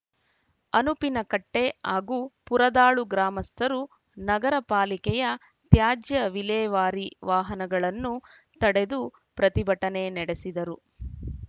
ಅನುಪಿನಕಟ್ಟೆಹಾಗೂ ಪುರದಾಳು ಗ್ರಾಮಸ್ಥರು ನಗರ ಪಾಲಿಕೆಯ ತ್ಯಾಜ್ಯ ವಿಲೇವಾರಿ ವಾಹನಗಳನ್ನು ತಡೆದು ಪ್ರತಿಭಟನೆ ನಡೆಸಿದರು